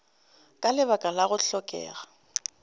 ka lebaka la go hlokega